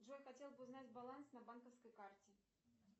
джой хотела бы узнать баланс на банковской карте